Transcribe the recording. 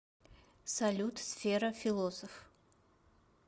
салют сфера философ